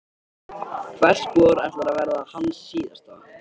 Hvert spor ætlar að verða hans síðasta.